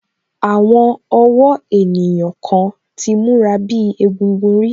Àwọn ọ̀wọ́ ènìyàn kan ti múra bíi egúngún rí